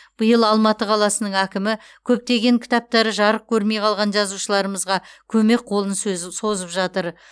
биыл алматы қаласының әкімі көптеген кітаптары жарық көрмей қалған жазушылармызға көмек қолын сөз созып жатыр